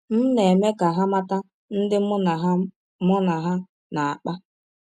M na - eme ka ha mata ndị mụ na ha mụ na ha na - akpa.